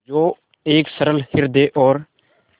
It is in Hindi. जो एक सरल हृदय और